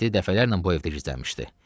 Mehdi dəfələrlə bu evdə gizlənmişdi.